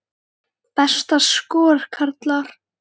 Besta skor, karlar